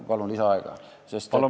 Palun lisaaega!